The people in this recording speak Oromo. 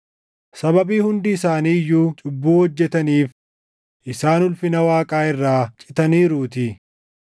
sababii hundi isaanii iyyuu cubbuu hojjetaniif isaan ulfina Waaqaa irraa citaniiruutii;